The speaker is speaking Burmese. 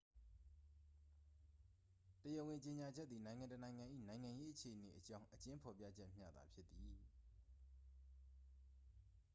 တရားဝင်ကြေညာချက်သည် နိုင်ငံတစ်နိုင်ငံ၏ နိုင်ငံရေးအခြေအနေအကြောင်း အကျဉ်းဖော်ပြချက်မျှသာဖြစ်သည်